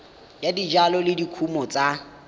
ya dijalo le dikumo tsa